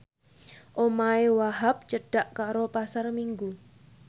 omahe Wahhab cedhak karo Pasar Minggu